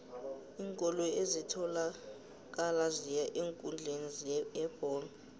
iinkoloyi ezitholakala ziya eenkundleni yebholo